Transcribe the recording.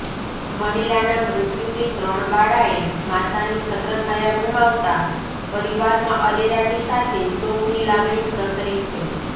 મહિલાનાં મૃત્યુથી ત્રણ બાળાએ માતાની છત્રછાયા ગુમાવતા પરીવારમાં અરેરાટી સાથે શોકની લાગણી પ્રસરી છે